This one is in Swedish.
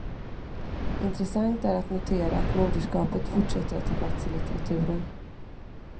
Intressant är att notera att moderskapet fortsätter att ta plats i litteraturen.